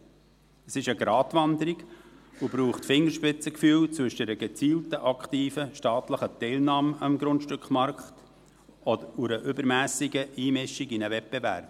Es ist eine Gratwanderung, und es braucht Fingerspitzengefühl zwischen einer gezielten aktiven staatlichen Teilnahme am Grundstückmarkt und einer übermässigen Einmischung in einen Wettbewerb.